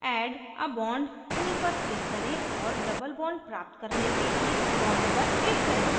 add a bond tool पर click करें और double bond प्राप्त करने के लिए bond पर click करें